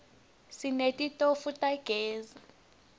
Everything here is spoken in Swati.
sineti tofu tagezi